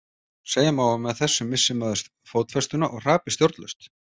Segja má að með þessu missi maður fótfestuna og hrapi stjórnlaust.